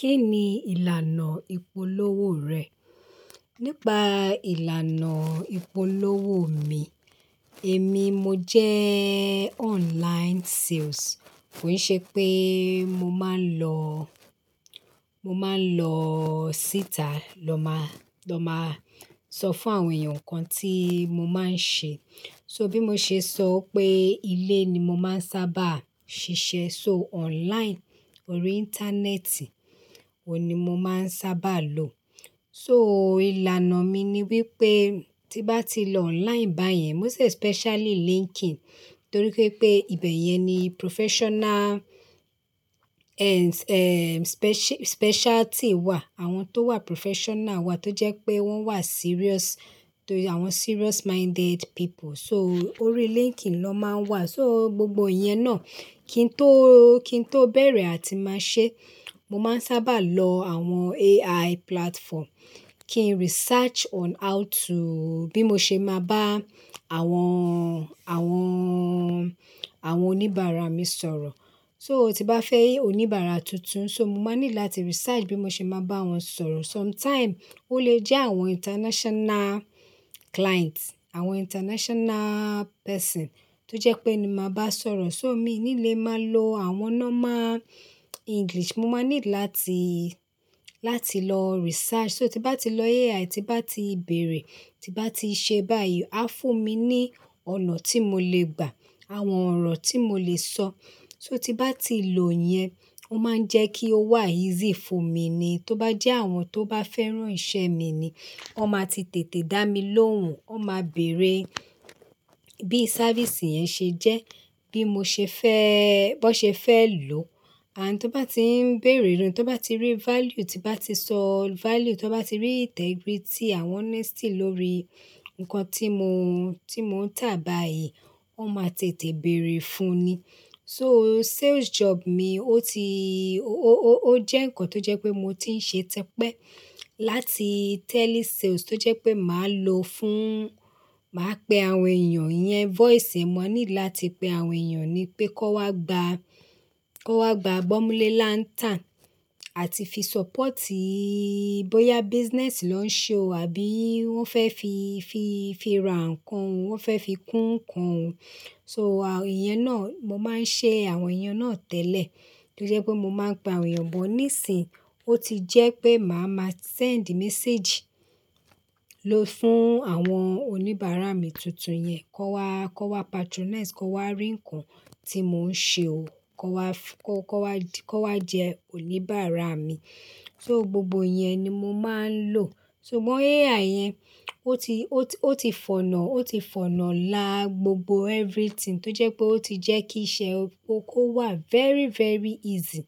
Kí ni ìlànà ìpolówó rẹ̀? Nípa ìlànà ìpolówó mi, èmi mo jẹ́ online sales. Kò í ṣe pé mo máa ń lọ, mo máa ń lọ síta lọ má, lọ má sọ fún àwọn èèyàn nǹkan tí mo máa ń ṣe. So bí mo ṣe sọ pé ilé ni mo máa ń sábà ṣiṣẹ́ so online, orí Íńtánẹ́ẹ̀tì oun ni mo máa ń sábà lò. So ìlànà mi ni wípé tí bá ti lọ online báyẹn, moṣt especially LinkedIn, torí pé ibẹ̀ yẹn ni professional and, eh, speci-specialty wà. Àwọn tó wà professional wà tó jẹ́ pé wọ́n wà serious, tó àwọn serious minded people. So orí LinkedIn ló máa ń wà. So gbogbo ìyẹn náà kí n tó, kí n tó bẹ̀rẹ̀ àti máa ṣe, mo máa ń sábà lọ àwọn AI platform, kí n research on how to bí mo ṣe máa bá àwọn, àwọn, àwọn oníbàárà mi sọ̀rọ̀. So tí bá fẹ́ oníbàárà tuntun, so mo máa ní láti research bí mo ṣe máa bá wọn sọ̀rọ̀. Sometime ó lè jẹ́ àwọn international clients, àwọn international person tó jẹ́ pé ni máa bá sọ̀rọ̀. So mi ní ilé máa lọ àwọn normal English. Mo máa need láti, láti lọ research. So tí bá ti lọ AI, tí bá ti bèèrè, tí bá ti ṣe báyìí, á fún mi ní ọ̀nà tí mo lè gbà, àwọn ọ̀rọ̀ tí mo lè sọ. So tí bá ti lò yẹn, ó máa ń jẹ́ kí ó wà easy fún mi ni. Tó bá jẹ́ àwọn tó bá fẹ́ràn iṣẹ́ mi ni, wọ́n máa ti tètè dá mi lóhùn. Wọ́n máa bèèrè bí servìce yẹn ṣe jẹ́, bí mo ṣe fẹ́-- bó ṣe fẹ́ lò. Àti tó bá ti ń béèrè lórun, tó bá ti rí value, tí bá ti sọ value, tó bá ti rí integrity àwọn honesty lórí nǹkan tí mo, tí mò ń tà báyìí, ó máa tètè bèèrè fún ni. So sales job mi ó ti, ó, ó, ó jẹ́ nǹkan tó jẹ́ pé mo ti ń ṣe tipẹ́ láti telesales tó jẹ́ pé màá lo fún, màá pe àwọn èèyàn iyẹn voice. Mo ní láti pe àwọn èèyàn pé kó wá gba, kó wá gba gbọ́múlélántà àti fi support bóyá business lọ́ ń ṣe o àbí wọ́n fẹ́ fi, fi, fi ra nǹkan, wọ́n fẹ́ fi kún nǹkan. So à, ìyẹn náà, mo máa ń ṣe àwọn iyen náà tẹ́lẹ̀ tó jẹ́ pé mo máa ń gba èèyàn bọ̀. Nísìnyí bó ti jẹ́ pé màá máa send message ló fún àwọn oníbàárà mi tuntun yẹn. Kó wa, kó wa patronise, kó wá rí ǹkan tí mò ń ṣe o, kó wá fú-- kó, kó wá, kó wá jẹ́ oníbàárà mi. So gbogbo ìyẹn ni mo máa ń lò. Sugbon AI yẹn, ó ti, ó ti, ó ti fọ̀nà, ó ti fọ̀nà la gbogbo everything tó jẹ́ pé ó ti jẹ́ kí iṣẹ́ kó kó wà very, very easy.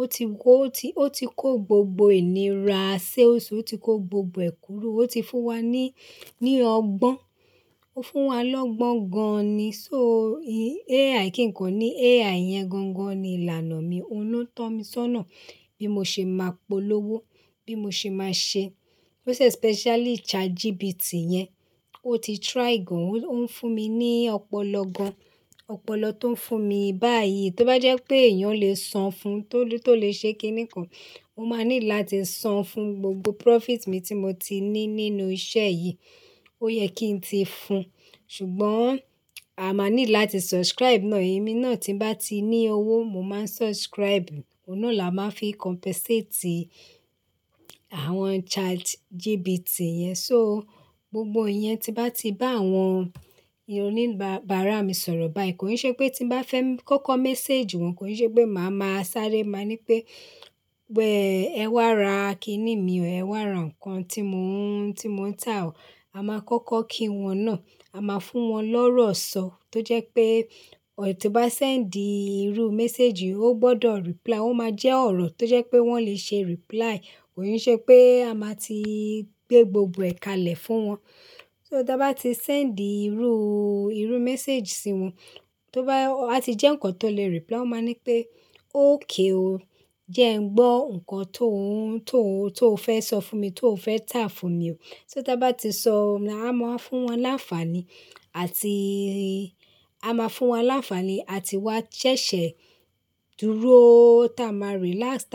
Ó ti wó, ó ti, ó ti kó gbogbo ìníra ṣales ó ti kó gbogbo ẹ̀ kúro. Ó ti fún wa ní, ní ọgbọ́n. Ó fún wa lọ́gbọ́n gan-an ni. So AI kì ń kan ni, AI yẹn gangan ni ìlànà mi. Óun ló tọ́ mi sọ́nà bí mo ṣe máa polówó, bí mo ṣe máa ṣe. Most especially ChatGPT yẹn, ó ti try gan. Ó ń fún mi ní ọ̀pọ̀lọpọ̀ gan ọ̀pọ̀lọ́ tó ń fún mi báyìí. Tó bá jẹ́ pé èèyàn ò lè sọ fun tó, tó lè ṣe kín ní kàn, mo máa needí láti san fún gbogbo profit mi tí mo ti ní nínú isẹ́ yìí. Ó yẹ kí n ti fun. Ṣùgbọ́n a máa need láti subscribe náà. Èmi náà tí n bá ti ní owó, mo máa subscribe. Óun náà la máa fi compensate àwọn ChatGPT yẹn. So gbogbo ìyẹn tí bá ti bá àwọn oníbàárà mi sọ̀rọ̀ báyìí kò í ṣe pé tí bá fẹ́ kọ́kọ́ message wọn, kò í ṣe pé màá máa sáré, màá ní pé wẹ́ẹ́, ẹ wá ra kiní mi o, ẹ wá ra nǹkan tí mò ń, tí mò ń tà o. A máa kọ́kọ́ kí wọn náà. A máa fún wọn lọ́rọ̀ sọ tó jẹ́ pé ọ̀ tí bá send irú message, ó gbọ́dọ̀ reply. Ó máa jẹ́ ọ̀rọ̀ tó jẹ́ pé wọ́n lè ṣe reply. Kò í ṣe pé a máa ti gbé gbogbo ẹ̀ka lẹ̀ fún wọn. So tí a bá ti send irú, irú message sí wọn, tó bá, a ti jẹ́ nǹkan tó lè reply, ó máa ní pé "Ókay o. Ǹjẹ́ ẹ gbọ́ nǹkan tó ń, tó ń, tó o fẹ́ sọ fún mi, tó o fẹ́ tà fún mi o?" So tí a bá ti sọ, a máa fún wọn láńfààní àti a máa fún wa láńfààní àti wá ṣẹ̀ṣẹ̀ dúró tá a máa relax tá.